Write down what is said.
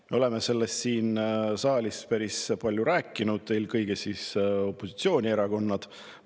Me oleme sellest siin saalis päris palju rääkinud, eelkõige opositsioonierakonnad.